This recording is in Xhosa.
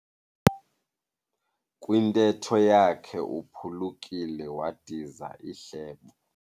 Kwintetho yakhe uphulukiwe wadiza ihlebo.